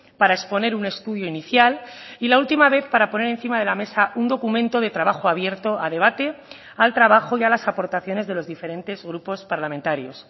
para exponer un estudio inicial y la última vez para poner encima de la mesa un documento de trabajo abierto a debate al trabajo y a las aportaciones de los diferentes grupos parlamentarios